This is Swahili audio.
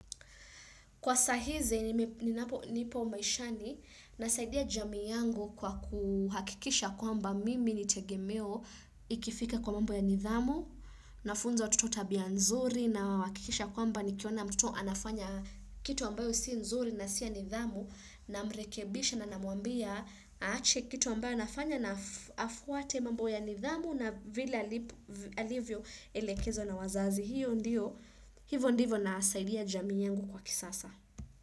Kwa saa hizi nipo maishani, nasaidia jamii yangu kwa kuhakikisha kwamba mimi ni tegemeo ikifika kwa mambo ya nidhamu, nafunza watoto tabia nzuri na nahakikisha kwamba nikiona mtoto anafanya kitu ambayo si nzuri na si ya nidhamu namrekebisha na namwambia aache kitu ambayo anafanya na afuate mambo ya nidhamu na vile alivyoelekezwa na wazazi. Hivo ndivo nasaidia jamii yangu kwa kisasa.